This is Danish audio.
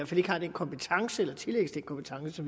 fald ikke har den kompetence eller tillægges den kompetence